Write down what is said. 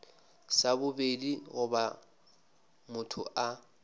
sa bobedi goba motho a